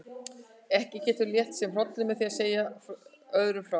Ekki getur hann létt sér hrollinn með því að segja öðrum frá.